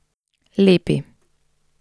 Lepi.